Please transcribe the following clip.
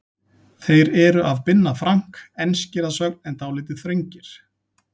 Þeir eru af Binna Frank, enskir að sögn en dálítið þröngir.